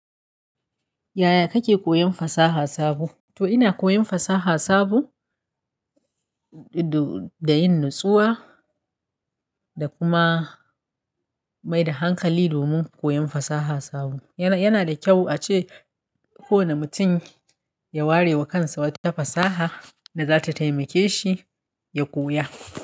Yaya kake koyon fasaha sabo? To ina koyon fasaha sabo, da yin nutsuwa da kuma maida hankali domin koyon fasaha sabo. Yanada kyau ace kowane mutum ya ware wa kansa wata fasaha da zata taimakeshi ya koya.